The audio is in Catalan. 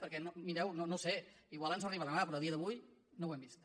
perquè mireu no ho sé potser ens arriba demà però a dia d’avui no ho hem vist